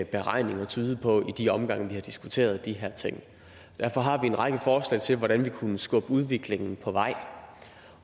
beregninger tydede på i de omgange vi har diskuteret de her ting derfor har vi en række forslag til hvordan vi kunne skubbe udviklingen på vej